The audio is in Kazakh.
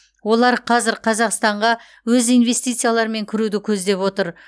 олар қазір қазақстанға өз инвестицияларымен кіруді көздеп отыр